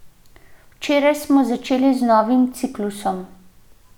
Včeraj smo začeli z novim ciklusom.